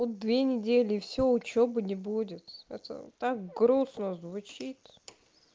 вот две недели всё учёбы не будет это так грустно звучит